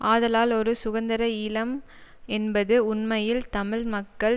ஆதலால் ஒரு சுதந்திர ஈழம் என்பது உண்மையில் தமிழ் மக்கள்